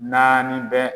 Naani bɛ